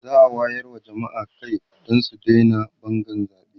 za'a wayar wa jamma'a Kai su Daina Bangan zaɓe